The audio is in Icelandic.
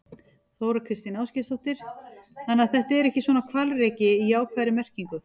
Þóra Kristín Ásgeirsdóttir: Þannig að þetta er ekki svona hvalreki í jákvæðri merkingu?